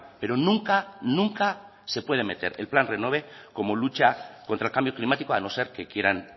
pero nunca nunca se puede meter el plan renove como lucha contra el cambio climático a no ser que quieran